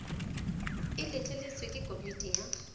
e letleletswe ke komiti ya